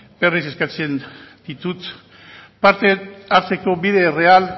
berriz eskatzen ditut parte hartzeko bide erreal